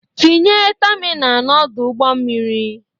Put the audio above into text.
Tinye tamina n'Ọdụ ụgbọ mmiri!